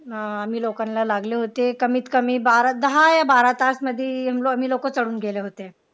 हा आम्ही लोकांना लागले होते कमीत कमी दहा या बारा तास मध्ये आम्ही लोकं चढून गेले होते.